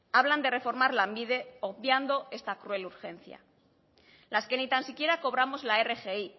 hablan de reformar lanbide obviando esta cruel urgencia las que ni tan siquiera cobramos la rgi